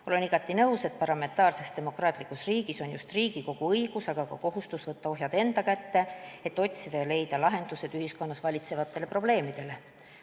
Olen igati nõus, et parlamentaarses demokraatlikus riigis on just Riigikogul õigus, aga ka kohustus võtta ohjad enda kätte, et otsida ja leida lahendusi ühiskonnas valitsevatele probleemidele.